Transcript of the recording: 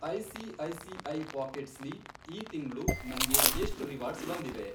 ICICI. Pockets ಲಿ ಈ ತಿಂಗ್ಳು ನಂಗೆ ಎಷ್ಟ್ ರಿವಾರ್ಡ್ಸ್ ಬಂದಿವೆ?